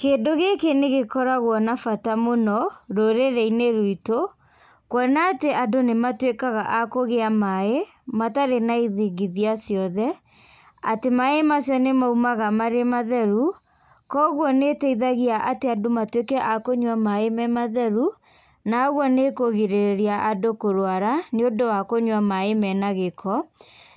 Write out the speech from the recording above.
Kĩndũ gĩkĩ nĩgĩkoragwo na bata mũno, rũrĩrĩinĩ ruitũ, kuona atĩ andũ nĩmatuĩkaga a kũgĩa maĩ, matĩrĩ na ithingithia cothe, atĩ maĩ macio nĩmaumaga marĩ matheru, koguo nĩteithagia atĩ andũ matuĩke ma kũnyua maĩ me matheru, na ũguo nĩkũgĩrĩrĩria andũ kũrwara, nĩũndũ wa kunyua maĩ mena gĩko,